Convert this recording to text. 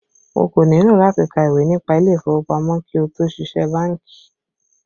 O kò nílò láti ka ìwé nípa ilé ìfowópamọ́ kí ó tó ṣiṣẹ́ bánkì